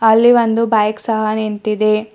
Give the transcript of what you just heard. ಅಲ್ಲಿ ಒಂದು ಬೈಕ್ ಸಹ ನಿಂತಿದೆ.